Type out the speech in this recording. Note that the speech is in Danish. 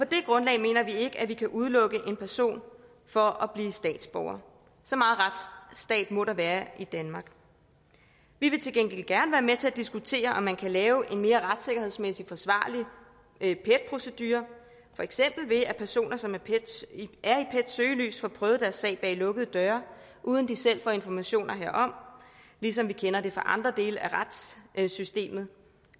det grundlag mener vi ikke at vi kan udelukke en person fra at blive statsborger så meget retsstat må der være i danmark vi vil til gengæld gerne være med til at diskutere om man kan lave en mere retssikkerhedsmæssigt forsvarlig pet procedure for eksempel ved at personer som er i pets søgelys får prøvet deres sag bag lukkede døre uden de selv får informationer herom ligesom vi kender det fra andre dele af retssystemet